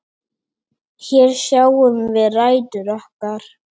Hér sjáum við rætur okkar.